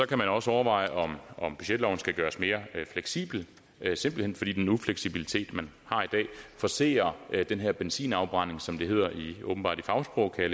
kan man også overveje om budgetloven skal gøres mere fleksibel simpelt hen fordi den ufleksibilitet man har i dag forcerer den her benzinafbrænding som det åbenbart hedder i fagsprog kan